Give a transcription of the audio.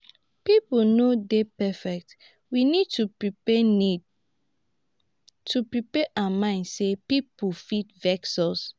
pipo no dey perfect we need to prepare need to prepare our mind sey pipo fit vex us